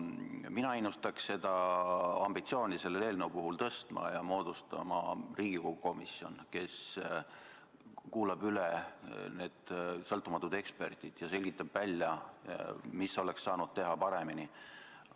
Mina innustaks selle eelnõu puhul ambitsiooni tõstma ja moodustama Riigikogu komisjoni, mis kuulab üle need sõltumatud eksperdid ja selgitab välja, mida oleks saanud teha paremini.